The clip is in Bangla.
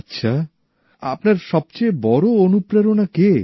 আচ্ছা আপনার সবচেয়ে বড় অনুপ্রেরণা কে